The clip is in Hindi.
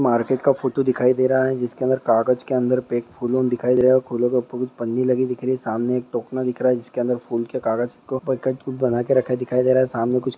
मार्केट का फोटो दिखाई दे हा है जिसके अंदर कागच के अंदर पैक फूलों दिखाई दे रहे है फूलों के ऊपर कूच पन्नी लगी दिख रही है सामने एक टोकना दिख रहा है जिसके अंदर फूल के कागच को-पर फूल बना के रखा दिखाई दे रहा है सामने कूच